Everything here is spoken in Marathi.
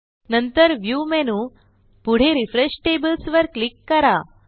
नंतर व्ह्यू मेनू पुढे रिफ्रेश Tablesवर क्लिक करा